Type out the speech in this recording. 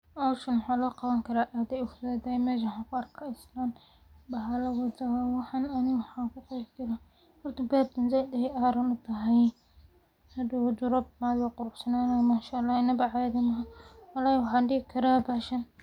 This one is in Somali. Hawshan waxaa loo qawan karaa ,meshan waxaan ku arkaa ,manshaalah inaba caadi maahan wallahi waxaan dhihi karaa .